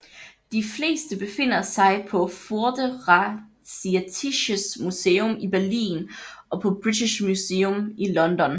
De fleste befinder sig på Vorderasiatisches Museum i Berlin og på British Museum i London